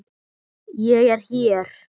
Ég er hér.